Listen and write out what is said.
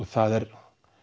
það er